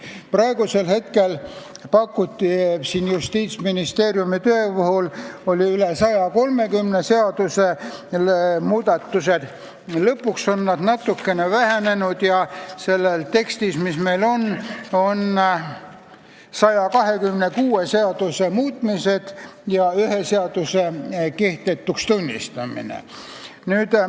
Praegusel juhul pakkus Justiitsministeerium üle 130 seaduse muutmist, lõpuks see arv natuke vähenes ja selles tekstis, mis meie ees on, on kirjas 126 seaduse muudatused ja ühe seaduse kehtetuks tunnistamine.